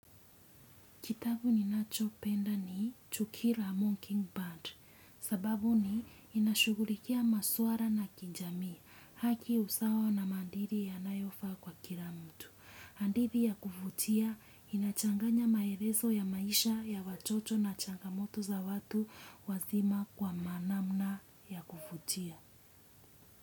Kitabu ni nacho penda ni, Chukira Mockingbird. Sababu ni inashughulikia maswara na kinjamii haki usawa na mandiri yanayofaa kwa kila mtu. Andithi ya kuvutia, inachanganya maereso ya maisha, ya watoto na changamoto za watu wazima kwa manamna ya kufutia.